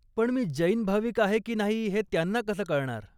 पण मी जैन भाविक आहे की नाही ते त्यांना कसं कळणार ?